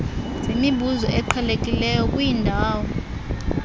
zemibuzo eqhelekileyo kwiindawo